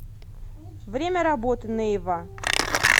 время работы нейва